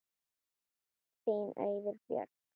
Þín Auður Björg.